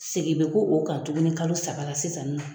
Segin bɛ kɛ o kan tuguni kalo saba la sisan nin nɔ.